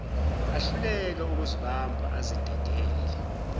ahluleke ukuzibamba azidedele